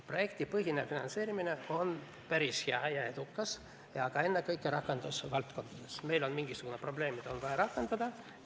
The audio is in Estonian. Projektipõhine finantseerimine on päris hea ja edukas, aga ennekõike rakendusvaldkondades: meil on mingisugune probleem, mis on vaja rakendada.